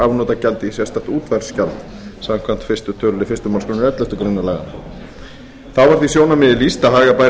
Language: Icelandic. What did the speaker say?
afnotagjaldi í sérstakt útvarpsgjald samkvæmt fyrsta tölulið fyrstu málsgrein elleftu grein laganna þá var því sjónarmiði lýst að haga bæri